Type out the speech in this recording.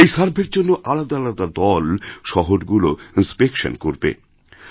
এই সার্ভের জন্য আলাদা আলাদাদল শহরগুলো ইন্স্পেকশন করবে